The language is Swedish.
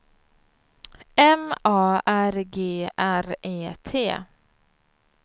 M A R G R E T